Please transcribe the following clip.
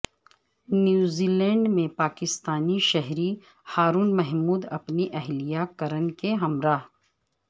New Zealand میں پاکستانی شہری ہارون محمود اپنی اہلیہ کرن کے ہمراہ